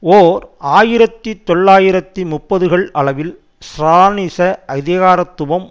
ஓர் ஆயிரத்தி தொள்ளாயிரத்தி முப்பதுகள் அளவில் ஸ்ராலினிச அதிகாரத்துவம்